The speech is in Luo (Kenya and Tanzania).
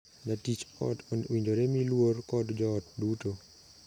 Jatich ot owinjore mii luor kod joot duto.